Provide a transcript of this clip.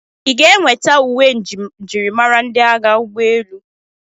Ị ga-enweta uwe njirimara ndị agha ụgbọelu?